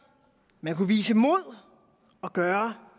man kunne vise mod og gøre